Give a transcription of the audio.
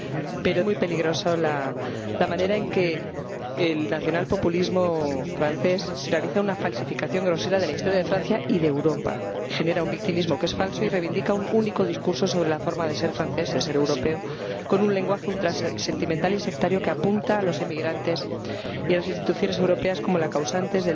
Pero también es muy, muy peligrosa la manera en que el nacionalpopulismo francés realiza una falsificación grosera de la historia de Francia y de Europa, genera un victimismo que es falso y reivindica un único discurso sobre la forma de ser francés, de ser europeo, con un lenguaje ultrasentimental y sectario que apunta a los inmigrantes y a las instituciones europeas como los causantes